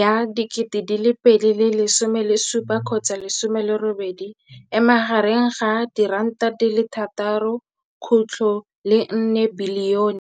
ya 2017, 18, e magareng ga R6.4 bilione.